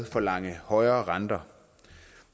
forlange højere renter